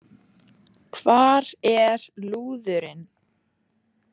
Hvar er lúðurinn?